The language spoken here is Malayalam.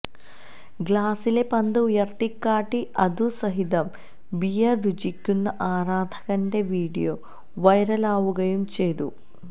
ഗ്ലാസിലെ പന്ത് ഉയർത്തിക്കാട്ടി അതുസഹിതം ബീയർ രുചിക്കുന്ന ആരാധകന്റെ വിഡിയോ വൈറലാകുകയും ചെയ്തു